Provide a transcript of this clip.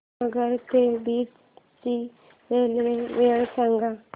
नगर ते बीड ची रेल्वे वेळ सांगा